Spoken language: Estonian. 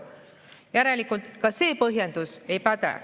Järelikult ka see põhjendus ei päde.